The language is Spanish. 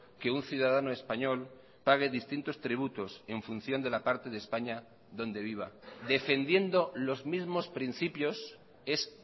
que un ciudadano español pague distintos tributos en función de la parte de españa donde viva defendiendo los mismos principios es